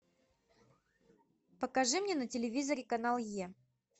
покажи мне на телевизоре канал е